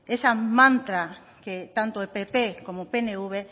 que esa mantra que tanto pp como pnv